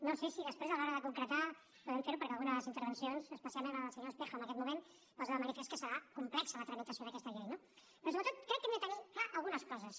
no sé si després a l’hora de concretar podrem fer ho perquè algunes de les intervencions especialment la del senyor espejo en aquest moment posa de manifest que serà complexa la tramitació d’aquesta llei no però sobretot crec que hem de tenir clares algunes coses